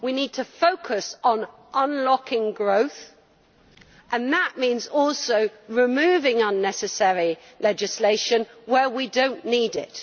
We need to focus on unlocking growth, and that means also removing unnecessary legislation where we do not need it.